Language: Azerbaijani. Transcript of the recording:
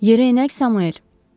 Yerə enək Samuel.